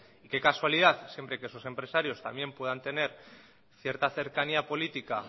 qué casualidad siempre que esos empresarios también puedan tener cierta cercanía política